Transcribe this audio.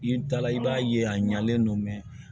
I taala i b'a ye a ɲalen don